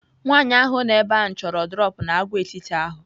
Nwaanyị ahụ nọ ebe ahụ chọrọ droọpu n'Agwaetiti ahụ.